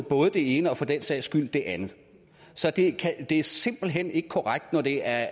både det ene og for den sags skyld det andet så det er simpelt hen ikke korrekt når det er